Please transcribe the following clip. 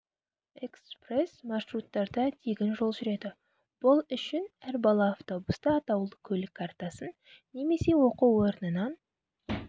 экспресс-маршруттарда тегін жол жүреді бұл үшін әр бала автобуста атаулы көлік картасын немесе оқу орнынан